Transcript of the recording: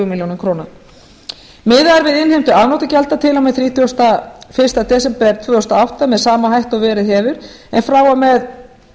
milljónir króna miðað er við innheimtu afnotagjalda til og með þrítugasta og fyrsta desember tvö þúsund og átta með sama hætti og verið hefur en frá og með